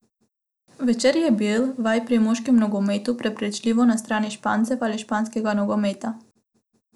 Večer je bil, vaj pri moškem nogometu, prepričljivo na strani Špancev ali španskega nogometa.